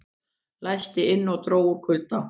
Læstist inni og dó úr kulda